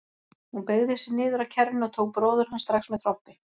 Hún beygði sig niður að kerrunni og tók bróður hans strax með trompi.